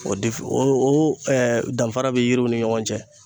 O o o danfara be yiriw ni ɲɔgɔn cɛ.